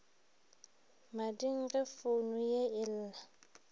mading ge founu ye ella